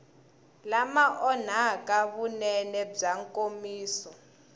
lama onhaka vunene bya nkomiso